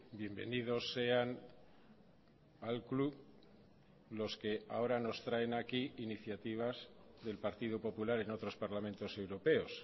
bienvenidos sean al club los que ahora nos traen aquí iniciativas del partido popular en otros parlamentos europeos